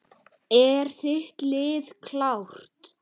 Er þitt lið klárt?